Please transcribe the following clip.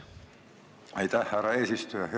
Aitäh, härra eesistuja!